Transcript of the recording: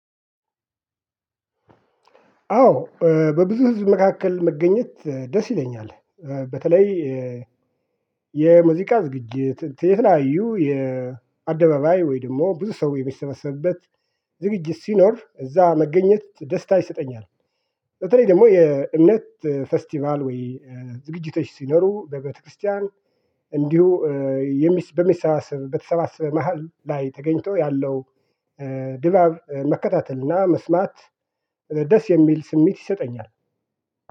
አዎ በብዙ ህዝብ መካከል መገኘት ደስ ይለኛል። በተለይ የሙዚቃ ዝግጅት የተላያዩ የአደባባይ ወይ ደግሞ ብዙ ሰው የሚሰበሰብበት ዝግጅት ሲኖር እዛ መገኘት ደስታ ይሰጠኛል። በተለይ ደግሞ የእምነት ፌስቲቫል ወይ ዝግጅቶች ሲኖሩ በቤተክርስቲያን እንዲሁ በሚሰባሰብት በተሰባሰበ መሃል ላይ ተገኝቶ ያለው ድባብ መከታተል እና መስማት ደስ የሚል ስሜት ይሰጠኛል